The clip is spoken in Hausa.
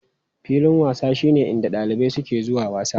Filin wasa shine inda ɗalibai suke zuwa wasa.